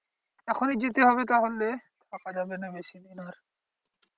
এখনই যেতে হবে তাহলে থাকা যাবে না বেশিদিন আর।